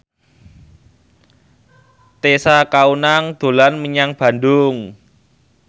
Tessa Kaunang dolan menyang Bandung